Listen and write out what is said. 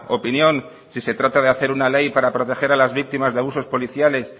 opinión si se trata de hacer una ley para proteger a las víctimas de abusos policiales